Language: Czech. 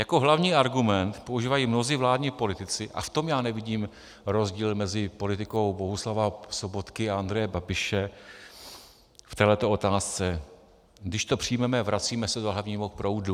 Jako hlavní argument používají mnozí vládní politici - a v tom já nevidím rozdíl mezi politikou Bohuslava Sobotky a Andreje Babiše v této otázce: Když to přijmeme, vracíme se do hlavního proudu.